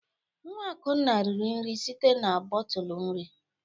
Nwa Akunna riri nri site na bọtụlụ nri.